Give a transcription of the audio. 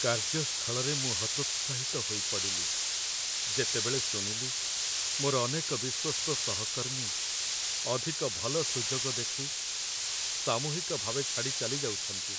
କାର୍ଯ୍ୟସ୍ଥଳରେ ମୁଁ ହତୋତ୍ସାହିତ ହୋଇପଡ଼ିଲି, ଯେତେବେଳେ ଶୁଣିଲି ମୋର ଅନେକ ବିଶ୍ୱସ୍ତ ସହକର୍ମୀ ଅଧିକ ଭଲ ସୁଯୋଗ ଦେଖି ସାମୂହିକ ଭାବେ ଛାଡ଼ି ଚାଲିଯାଉଛନ୍ତି।